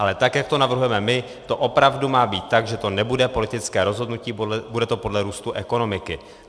Ale tak jak to navrhujeme my, to opravdu má být tak, že to nebude politické rozhodnutí, bude to podle růstu ekonomiky.